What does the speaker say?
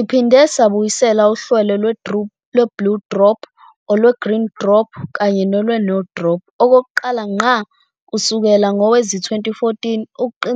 Abaningi abakulezo zithombe kubukeka kuyintsha